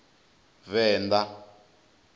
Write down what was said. venḓa